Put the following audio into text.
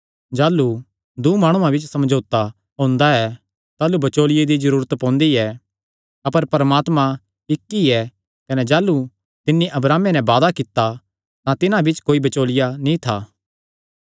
जाह़लू दूँ माणुआं बिच्च समझौता हुंदा ऐ ताह़लू बचौलिये दी जरूरत पोंदी ऐ अपर परमात्मा इक्क ई ऐ कने जाह़लू तिन्नी अब्राहमे नैं वादा कित्ता तां तिन्हां बिच्च कोई बचौलिया नीं था